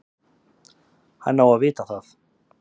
Hann á að vita það.